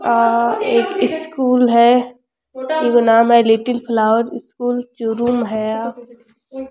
आ एक स्कूल है ईको नाम है लिटिल फ्लावर स्कूल चूरू में है या।